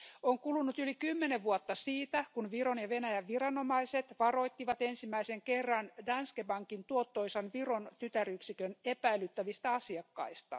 On kulunut yli 10 vuotta siitä, kun Viron ja Venäjän viranomaiset varoittivat ensimmäisen kerran Danske Bankin tuottoisan Viron tytäryksikön epäilyttävistä asiakkaista.